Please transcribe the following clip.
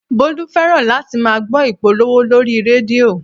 Bólú fẹ́ràn láti máa gbọ́ ìpolówó lórí rédíò